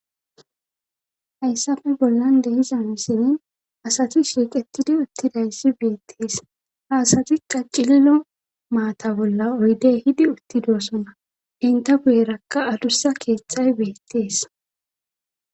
hayssafe bollande,iza missini asati shiiqetidi uttidayssi beettees haasati qa cillo maata bolla oyde hidi uttidosona inte guyerakka adussa keetthay beettees